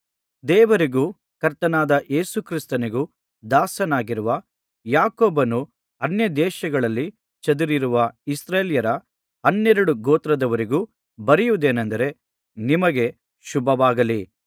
ದೇವರಿಗೂ ಕರ್ತನಾದ ಯೇಸು ಕ್ರಿಸ್ತನಿಗೂ ದಾಸನಾಗಿರುವ ಯಾಕೋಬನು ಅನ್ಯದೇಶಗಳಲ್ಲಿ ಚದುರಿರುವ ಇಸ್ರಾಯೇಲ್ಯರ ಹನ್ನೆರಡು ಗೋತ್ರದವರಿಗೂ ಬರೆಯುವುದೇನೆಂದರೆ ನಿಮಗೆ ಶುಭವಾಗಲಿ